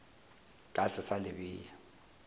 ka se sa le bea